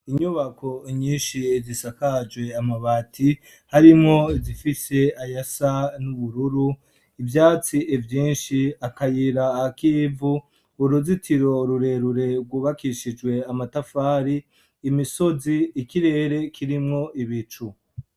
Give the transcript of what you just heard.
Inyubako nyinshi zisakajwe amabati, harimwo izifise ayasa n'ubururu, ivyatsi vyinshi, akayira k'ivu, uruzitiro rurerure rwubakishijwe amatafari, imisozi, ikirere kirimwo ibicu.